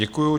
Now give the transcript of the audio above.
Děkuju.